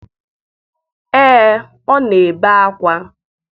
Ee ọ na-ebe akwa